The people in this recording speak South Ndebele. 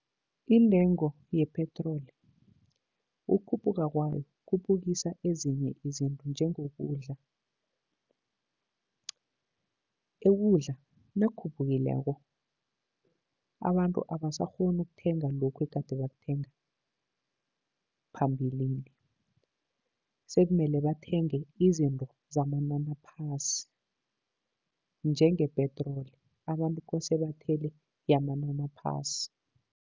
Iintengo yepetroli, ukukhuphuka kwayo kukhuphukisa ezinye izinto, njengokudla. Ukudla nakukhuphukileko, abantu abasakghoni ukuthenga lokhu egade bakuthenga phambilini. Sekumele bathenge izinto zamanani phasi njenge-petrol, abantu kose bathele yamanani aphasi.